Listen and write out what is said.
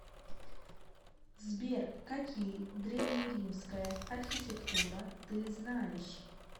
сбер какие древнеримская архитектура ты знаешь